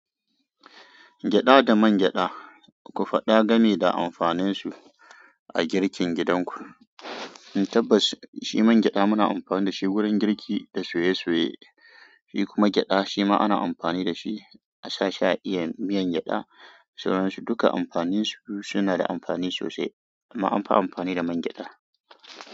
Gyaɗa da man gyaɗa, ku faɗa gami da amfaninsu a girkin gidanku. Tabbas shi man gyaɗa muna amfani da shi wurin girki da soye-soye, shi kuma gyaɗa shi ma ana amfani da shi a sa sha'i, miyan gyaɗa. Saboda su duka amfaninsu suna da amfani sosai, amma anfi amfani da man gyaɗa.